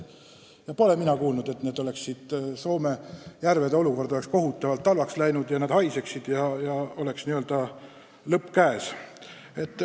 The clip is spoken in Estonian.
Ja mina pole kuulnud, et Soome järvede seisukord on kohutavalt halvaks läinud ja need haisevad ja nende lõpp on käes.